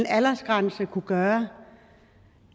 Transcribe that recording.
aldersgrænse ville kunne gøre